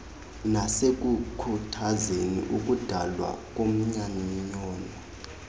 nasekukhuthazeni ukudalwa komanyano